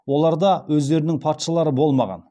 оларда өздерінің патшалары болмаған